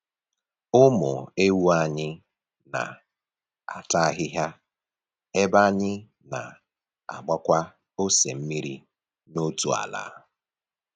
Ụmụ ewu anyị na-ata ahịhịa ebe anyị na-agbakwa ose mmiri n'otu ala.